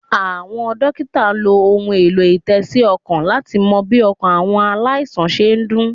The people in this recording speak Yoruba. Àwọn Dókítà n lo ohun èlò- ìtésí -ọkàn láti mo bí ọkàn àwọn aláìsàn se n dún